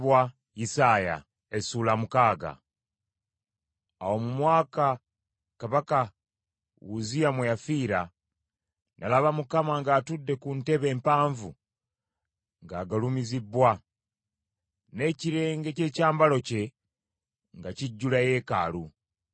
Awo mu mwaka kabaka Uzziya mwe yafiira, nalaba Mukama ng’atudde ku ntebe empanvu ng’agulumizibbwa, n’ekirenge ky’ekyambalo kye nga kijjula yeekaalu.